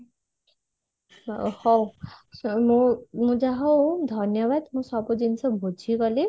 ହୋଉ ମୁଁ ଯା ହୋଉ ଧନ୍ୟବାଦ ମୁ ସବୁ ଜିନିଷ ବୁଝିଗଲି